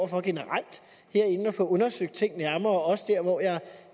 for generelt herinde at få undersøgt tingene nærmere også der hvor jeg